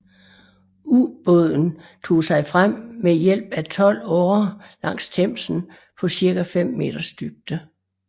Ubåden tog sig frem med hjælp af tolv årer langs Themsen på ca 5 meters dybde